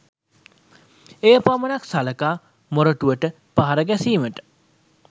එය පමණක් සලකා මොරටුවට පහර ගැසීමට